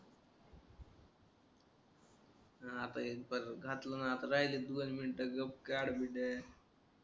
हा आता एक पर घातला ना आता राहिलेत दोन मिनटं गप काड विजय